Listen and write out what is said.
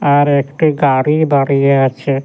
আর একটি গাড়ি দাঁড়িয়ে আছে।